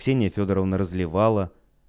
ксения фёдоровна разливала